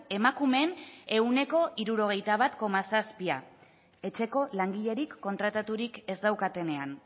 emakumeen ehuneko hirurogeita bat koma zazpia etxeko langilerik kontrataturik ez daukatenean